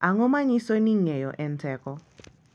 Ang’o ma nyiso ni Ng’eyo en Teko?